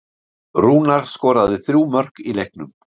Rúnar skoraði þrjú mörk í leiknum